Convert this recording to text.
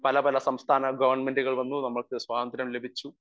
Speaker 1 പല പല സംസ്ഥാന ഗവൺമെന്റുകൾ വന്നു നമ്മക്ക് സ്വാതന്ത്ര്യം ലഭിച്ചു.